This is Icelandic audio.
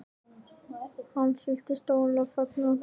Ég fylltist ólýsanlegum fögnuði og þakklæti.